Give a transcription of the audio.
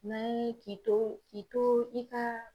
N'an ye k'i to k'i to i ka